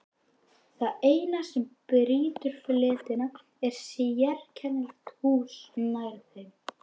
Það eina sem brýtur fletina er sérkennilegt hús nær þeim.